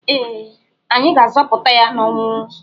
Ee, anyị ga-azọpụta ya n'ọnwụ.